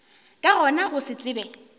ka gona go se tsebe